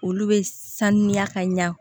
Olu bɛ sanuya ka ɲa